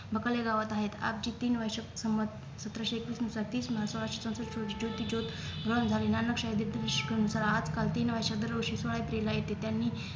बकालरावत आहेत आपजी तीन वर्ष संमत सतराशे एकवीसनुसार तीस march सोळाशे चौसष्ट रोजी ज्योतिज्योत व आजकाल तीन वर्षात दरवर्षी सोळा April ला येते त्यांनी